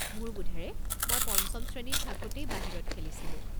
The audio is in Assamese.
মোৰ বোধেৰে মই পঞ্চম শ্ৰেণীত থাকোঁতেই বাহিৰত খেলিছিলোঁ।